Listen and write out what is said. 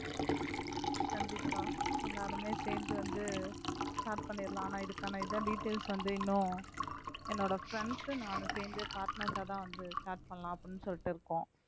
கண்டிப்பா எல்லாருமே சேர்ந்து வந்து start பண்ணிடலாம் ஆனா இதுக்கான இதான் details வந்து இன்னும் என்னோட friends நானும் சேர்ந்து partners ஆதான் வந்து start பண்ணலாம் அப்படின்னு சொல்லிட்டு இருக்கோம்